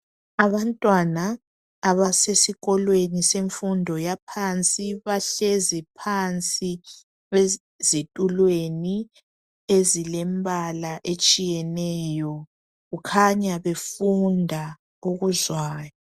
Abantwana abasesikolweni semfundo yaphansi bahlezi phansi ezitulweni ezilembala etshiyeneyo kukhanya befunda okuzwayo.